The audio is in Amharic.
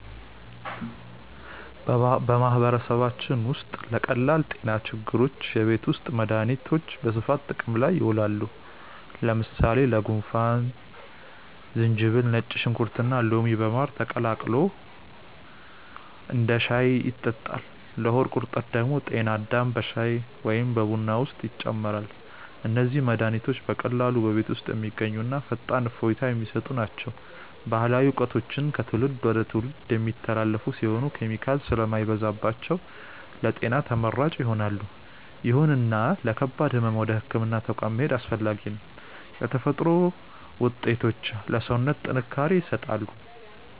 በማህበረሰባችን ውስጥ ለቀላል ጤና ችግሮች የቤት ውስጥ መድሃኒቶች በስፋት ጥቅም ላይ ይውላሉ። ለምሳሌ ለጉንፋን ዝንጅብል፣ ነጭ ሽንኩርትና ሎሚ በማር ተቀላቅሎ እንደ ሻይ ይጠጣል። ለሆድ ቁርጠት ደግሞ ጤና አዳም በሻይ ወይም በቡና ውስጥ ይጨመራል። እነዚህ መድሃኒቶች በቀላሉ በቤት ውስጥ የሚገኙና ፈጣን እፎይታ የሚሰጡ ናቸው። ባህላዊ እውቀቶቹ ከትውልድ ወደ ትውልድ የሚተላለፉ ሲሆኑ፣ ኬሚካል ስለማይበዛባቸው ለጤና ተመራጭ ይሆናሉ። ይሁንና ለከባድ ህመም ወደ ህክምና ተቋም መሄድ አስፈላጊ ነው። የተፈጥሮ ውጤቶች ለሰውነት ጥንካሬ ይሰጣሉ።